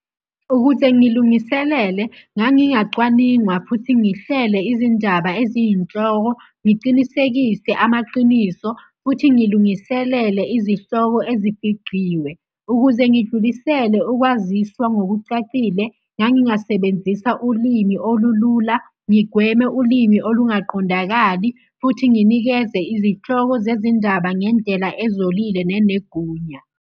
Ukuze ngilungiselele, ngangingacwaningwa futhi ngihlele izindaba eziyinhloko, ngicinisekise amaqiniso futhi ngilungiselele izihloko ezifigciwe. Ukuze ngidlulisele ukwaziswa ngokucacile, ngangingasebenzisa ulimi olulula ngigweme ulimi olungaqondakali, futhi nginikeze izihloko zezindaba ngendlela ezolile nenegunya.